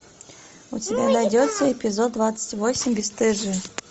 у тебя найдется эпизод двадцать восемь бесстыжие